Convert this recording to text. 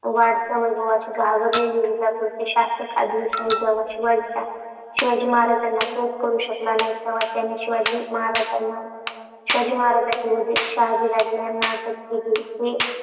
वाढत्या वैभवाने घाबरलेला विजापूरचा शासक आदिलशहा जेव्हा शिवाजी महाराजांना कैद करू शकला नाही, तेव्हा त्याने शिवाजींना शिवाजी महाराजांचे वडील शहाजी यांना अटक केली. हे